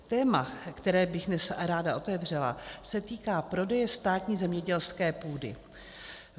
Téma, které bych dnes ráda otevřela, se týká prodeje státní zemědělské půdy.